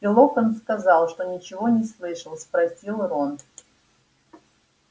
и локонс сказал что ничего не слышал спросил рон